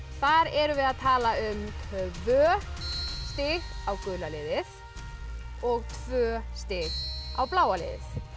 þar erum við að tala um tvö stig á gula liðið og tvö stig á bláa liðið